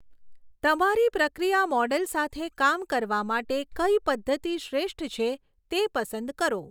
તમારી પ્રક્રિયા મોડલ સાથે કામ કરવા માટે કઈ પદ્ધતિ શ્રેષ્ઠ છે તે પસંદ કરો.